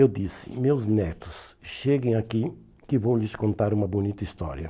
Eu disse, meus netos, cheguem aqui que vou lhes contar uma bonita história.